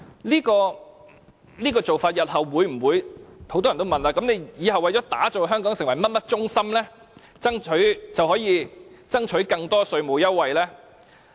很多人會問，為了打造香港成為甚麼中心，以後是否就可以爭取更多稅務優惠。